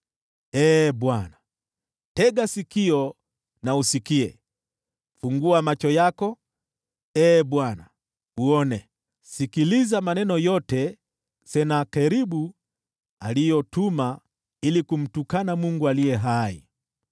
Tega sikio, Ee Bwana , usikie; fungua macho yako, Ee Bwana , uone; sikiliza maneno yote ambayo Senakeribu ametuma kumtukana Mungu aliye hai.